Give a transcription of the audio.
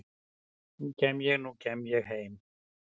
nú kem ég, nú kem ég heim